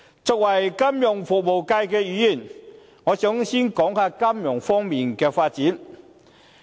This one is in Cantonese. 作為金融服務界議員，我想先談談金融方面的發展。